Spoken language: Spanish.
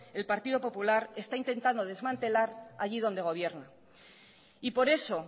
el partido popular está intentando desmantelar allí donde gobierna y por eso